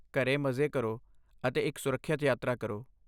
ਘਰੇ ਮਜ਼ੇ ਕਰੋ, ਅਤੇ ਇੱਕ ਸੁਰੱਖਿਅਤ ਯਾਤਰਾ ਕਰੋ।